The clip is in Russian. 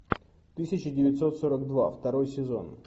тысяча девятьсот сорок два второй сезон